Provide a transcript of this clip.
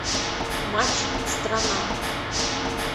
матч страна